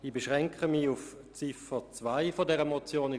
Ich beschränke mich auf Ziffer 2 der Motion.